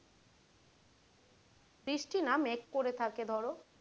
বৃষ্টি না মেঘ করে থাকে ধরো।